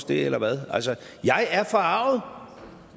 det eller hvad jeg er forarget